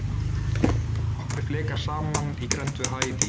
Í raun koma nokkrir flekar saman í grennd við Haítí.